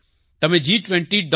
તમે G20